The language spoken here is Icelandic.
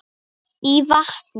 í vatni.